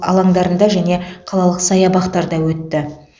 аландарында және қалалық саябақтарда өтті